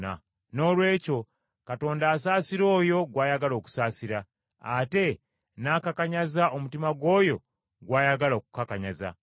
Noolwekyo Katonda asaasira oyo gw’ayagala okusaasira, ate n’akakanyaza omutima gw’oyo gw’ayagala okukakanyaza.